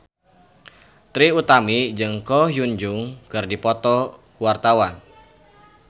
Trie Utami jeung Ko Hyun Jung keur dipoto ku wartawan